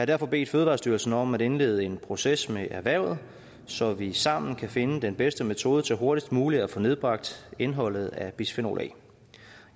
derfor bedt fødevarestyrelsen om at indlede en proces med erhvervet så vi sammen kan finde den bedste metode til hurtigst muligt at få nedbragt indholdet af bisfenol a